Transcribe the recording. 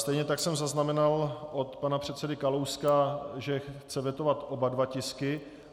Stejně tak jsem zaznamenal od pana předsedy Kalouska, že chce vetovat oba dva tisky.